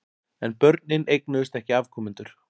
En börnin eignuðust ekki afkomendur.